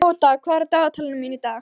Tóta, hvað er á dagatalinu mínu í dag?